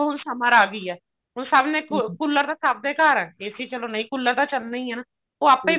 ਹੁਣ summer ਆਗੀ ਹੈ ਹੁਣ ਸਭ ਨੇ cooler ਸਭ ਦੇ ਘਰ AC ਚਲੋ ਨਹੀਂ cooler ਤਾਂ ਚੱਲਣੇ ਹੀ ਨੇ ਉਹ ਆਪੇ ਹੀ